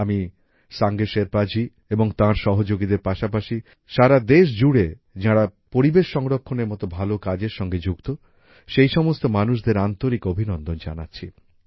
আমি সাঙ্গে শেরপাজি এবং তাঁর সহযোগীদের পাশাপাশি সারাদেশ জুড়ে যাঁরা পরিবেশ সংরক্ষণের মত ভালো কাজের সঙ্গে যুক্ত সেই সমস্ত মানুষদের আন্তরিক অভিনন্দন জানাচ্ছি